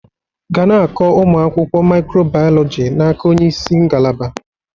Ga na-akọ ụmụ akwụkwọ micro biology n'aka onye isi ngalaba